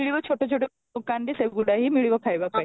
ମିଳିବ ଛୋଟ ଛୋଟ ଦୋକାନରେ ସେ ଗୁଡା ହିଁ ମିଳିବ ଖାଇବା ପାଇଁ